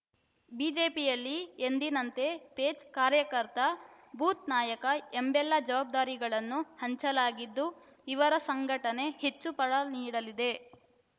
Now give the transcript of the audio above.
ಬಿಜೆಪಿಯಲ್ಲಿ ಎಂದಿನಂತೆ ಪೇಜ್‌ ಕಾರ್ಯಕರ್ತ ಬೂತ್‌ ನಾಯಕ ಎಂಬೆಲ್ಲ ಜವಾಬ್ದಾರಿಗಳನ್ನು ಹಂಚಲಾಗಿದ್ದು ಇವರ ಸಂಘಟನೆ ಹೆಚ್ಚು ಫಲ ನೀಡಲಿದೆ